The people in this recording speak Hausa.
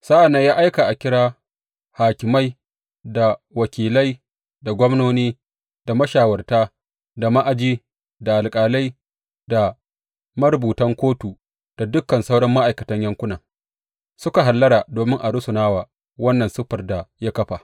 Sa’an nan ya aika a kira hakimai da wakilai da gwamnoni da mashawarta, da ma’aji, da alƙalai, da marubutan kotu, da dukan sauran ma’aikatan yankunan, suka hallara domin a rusuna wa wannan siffar da ya kafa.